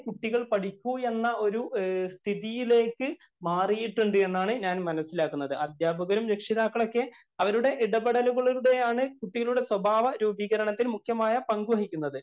കുട്ടികള്‍ പഠിക്കൂ എന്ന ഒരു സ്ഥിതിയിലേക്ക് മാറിയിട്ടുണ്ട് എന്നാണ് ഞാന്‍ മനസിലാക്കുന്നത്. അധ്യാപകരും, രക്ഷിതാക്കളും ഒക്കെ അവരുടെ ഇടപെടലുകളിലൂടെയാണ് കുട്ടികളുടെ സ്വഭാവ രൂപികരണത്തില്‍ കൃത്യമായ പങ്കു വഹിക്കുന്നത്.